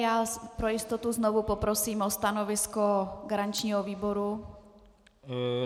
Já pro jistotu znovu poprosím o stanovisko garančního výboru.